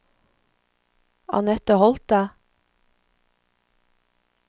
Annette Holthe